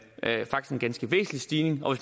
ganske væsentlig stigning og